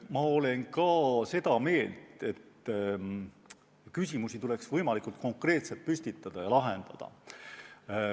Ma olen ka seda meelt, et küsimusi tuleks võimalikult konkreetselt püstitada ja lahendada.